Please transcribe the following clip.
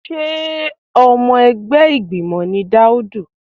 Sé ọmọ ẹgbẹ́ ìgbìmọ̀ ni Daudu?